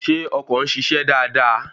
Ṣé ọkọ̀ ń ṣiṣẹ́ dáadáa?